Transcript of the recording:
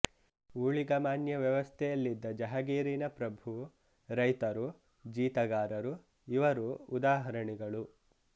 ಊಳಿಗಮಾನ್ಯ ವ್ಯವಸ್ಥೆಯಲ್ಲಿದ್ದ ಜಹಗೀರಿನ ಪ್ರಭು ರೈತರು ಜೀತಗಾರರು ಇವರು ಉದಾಹರಣೆಗಳು